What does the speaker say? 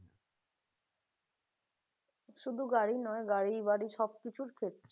শুধু গাড়ি নয় গাড়ি বাড়ি সবকিছুর ক্ষেত্রে